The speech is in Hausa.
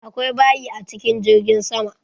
Akwai bayi a cikin jirgin sama.